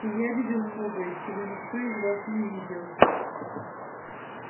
и я видел многое чего никто из вас не видел